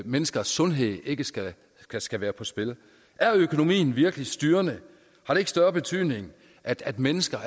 menneskers sundhed ikke skal skal være på spil er økonomien virkelig styrende har det ikke større betydning at at mennesker